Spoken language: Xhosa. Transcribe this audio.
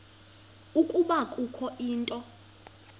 ukuba kukho into